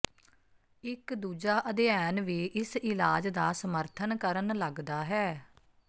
ਇੱਕ ਦੂਜਾ ਅਧਿਐਨ ਵੀ ਇਸ ਇਲਾਜ ਦਾ ਸਮਰਥਨ ਕਰਨ ਲੱਗਦਾ ਹੈ